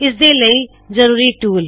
ਇਸਦੇ ਲਈ ਜ਼ਰੂਰੀ ਟੂਲ